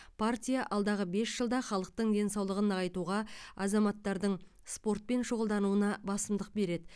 партия алдағы бес жылда халықтың денсаулығын нығайтуға азаматтардың спортпен шұғылдануына басымдық береді